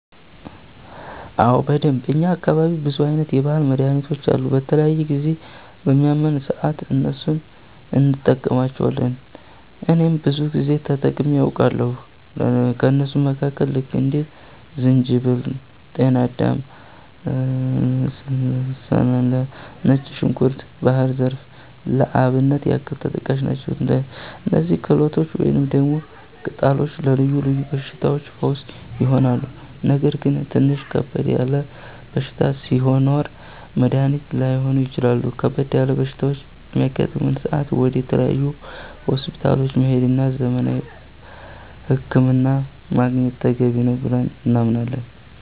አዎ በደንብ፣ እኛ አካባቢ ብዙ አይነት የባህል መድሀኒቶች አሉ። በተለያየ ጊዜ በሚያመን ሰአት እነሱን እንቀማለቸዋለን እኔም ብዙ ጊዜ ተጠቅሜ አቃለሁኝ። ከእነሱም መካከል ልክ እንደ ዝንጅበል፣ ጤናዳም፣ አለም ሰላላ፣ ነጭ ዝንኩርት፣ ባህር ዛፍ ለአብነት ያክል ተጠቃሽ ናቸው። እነዚህ ተክሎች ወይንም ደግሞ ቅጠሎች ለልዮ ልዮ በሽታዎች ፈውስ ይሆናሉ። ነገር ግን ትንሽ ከበድ ያለ በሽታ ሲኖር መድኒት ላይሆኑ ይችላሉ ከበድ ያለ በሽታ በሚያጋጥም ሰአት ወደ ተለያዩ ሆስፒታሎች መሄድ እና ዘመናዊ ህክምና ማግኘት ተገቢ ነው ብለን እናምናለን።